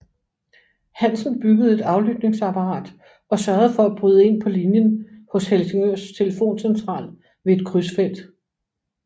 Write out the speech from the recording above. Hansen byggede et aflytningsapparat og sørgede for at bryde ind på linjen hos Helsingørs telefoncentral ved et krydsfelt